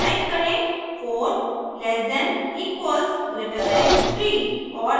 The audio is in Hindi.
टाइप करें4 less than equals greater than 3